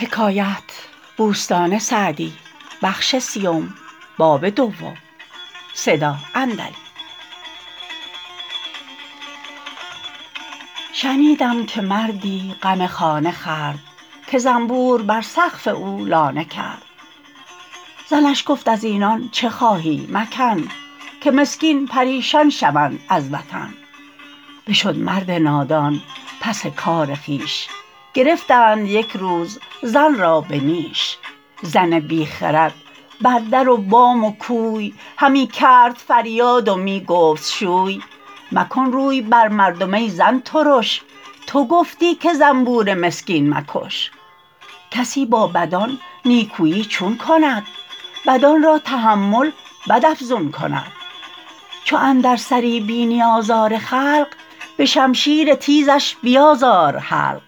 شنیدم که مردی غم خانه خورد که زنبور بر سقف او لانه کرد زنش گفت از اینان چه خواهی مکن که مسکین پریشان شوند از وطن بشد مرد نادان پس کار خویش گرفتند یک روز زن را به نیش زن بی خرد بر در و بام و کوی همی کرد فریاد و می گفت شوی مکن روی بر مردم ای زن ترش تو گفتی که زنبور مسکین مکش کسی با بدان نیکویی چون کند بدان را تحمل بد افزون کند چو اندر سری بینی آزار خلق به شمشیر تیزش بیازار حلق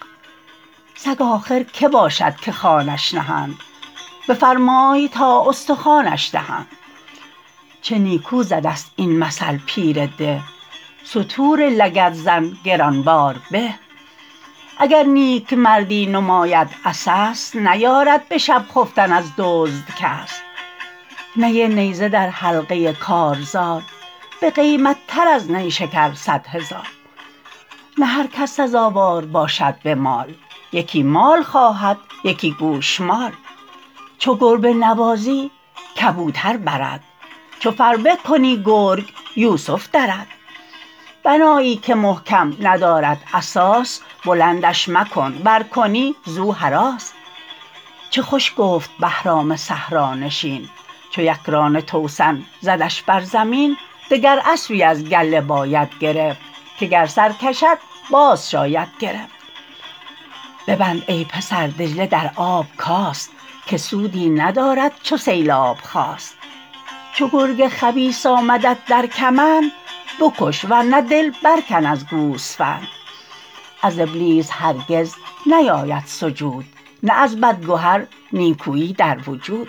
سگ آخر که باشد که خوانش نهند بفرمای تا استخوانش دهند چه نیکو زده ست این مثل پیر ده ستور لگدزن گران بار به اگر نیکمردی نماید عسس نیارد به شب خفتن از دزد کس نی نیزه در حلقه کارزار بقیمت تر از نیشکر صد هزار نه هر کس سزاوار باشد به مال یکی مال خواهد یکی گوشمال چو گربه نوازی کبوتر برد چو فربه کنی گرگ یوسف درد بنایی که محکم ندارد اساس بلندش مکن ور کنی زو هراس چه خوش گفت بهرام صحرانشین چو یکران توسن زدش بر زمین دگر اسبی از گله باید گرفت که گر سر کشد باز شاید گرفت ببند ای پسر دجله در آب کاست که سودی ندارد چو سیلاب خاست چو گرگ خبیث آمدت در کمند بکش ور نه دل بر کن از گوسفند از ابلیس هرگز نیاید سجود نه از بد گهر نیکویی در وجود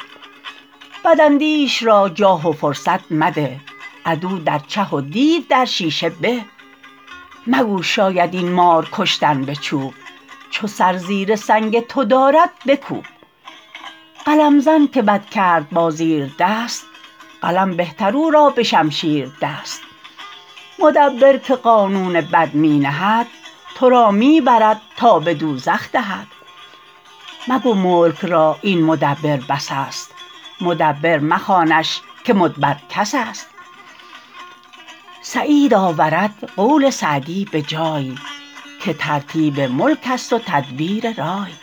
بد اندیش را جاه و فرصت مده عدو در چه و دیو در شیشه به مگو شاید این مار کشتن به چوب چو سر زیر سنگ تو دارد بکوب قلم زن که بد کرد با زیردست قلم بهتر او را به شمشیر دست مدبر که قانون بد می نهد تو را می برد تا به دوزخ دهد مگو ملک را این مدبر بس است مدبر مخوانش که مدبر کس است سعید آورد قول سعدی به جای که ترتیب ملک است و تدبیر رای